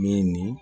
Min nin